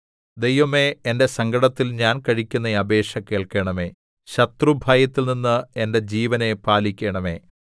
ദൈവമേ എന്റെ സങ്കടത്തിൽ ഞാൻ കഴിക്കുന്ന അപേക്ഷ കേൾക്കണമേ ശത്രുഭയത്തിൽനിന്ന് എന്റെ ജീവനെ പാലിക്കണമേ